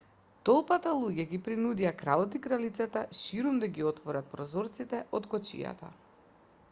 толпата луѓе ги принудија кралот и кралицата ширум да ги отворат прозорците од кочијата